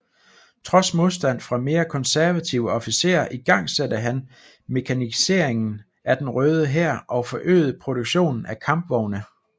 Trods modstand fra mere konservative officerer igangsatte han mekaniseringen af den Røde Hær og forøgede produktionen af kampvogne